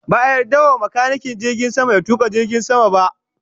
Ba a yarda wa makanikin jirgin sama ya tuka jirgin sama ba